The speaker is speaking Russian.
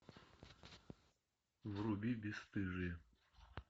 вруби бесстыжие